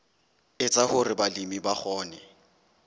etsa hore balemi ba kgone